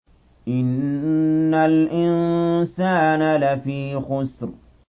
إِنَّ الْإِنسَانَ لَفِي خُسْرٍ